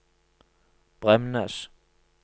Bremnes